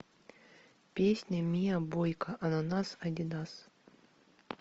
песня миа бойка ананас адидас